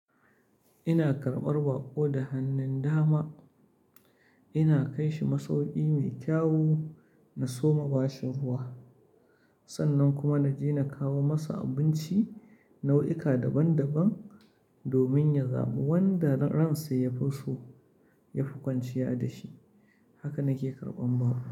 Ina karɓar baƙo da hannun dama, ina kai shi masauki mai kyawu, na soma bashi ruwa, sannan kuma na je na kawo masa abinci nau'ika daban-daban domin ya zabi wanda ransa ya fi so, ya fi kwanciya da shi. Haka nake karɓan baƙo.